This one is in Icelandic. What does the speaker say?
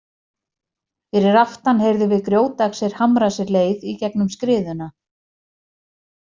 Fyrir aftan heyrðum við grjótaxir hamra sér leið í gegnum skriðuna.